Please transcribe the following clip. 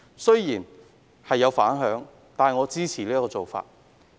雖然此舉引起反響，但我支持這做法。